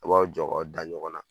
A b'aw jɔ k'aw da ɲɔgɔn na